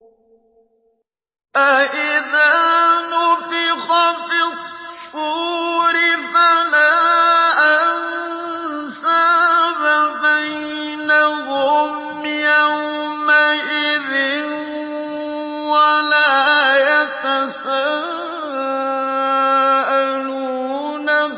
فَإِذَا نُفِخَ فِي الصُّورِ فَلَا أَنسَابَ بَيْنَهُمْ يَوْمَئِذٍ وَلَا يَتَسَاءَلُونَ